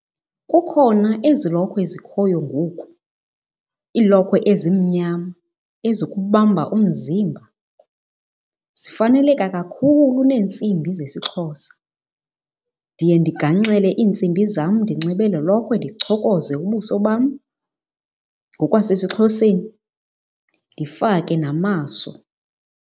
Kukhona ezi lokhwe zikhoyo ngoku, iilokhwe ezimnyama ezikubamba umzimba. Zifaneleka kakhulu neentsimbi zesiXhosa. Ndiye ndiganxele iintsimbi zam ndinxibe le lokhwe ndichokoze ubuso bam ngokwasesiXhoseni, ndifake namaso.